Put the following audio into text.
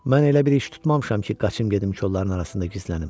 Mən elə bir iş tutmamışam ki, qaçım gedim kolları arasında gizlənim.